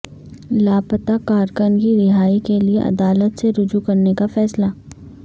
لاپتہ کارکن کی رہائی کے لیے عدالت سے رجوع کرنے کا فیصلہ